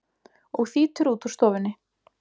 og þýtur út úr stofunni.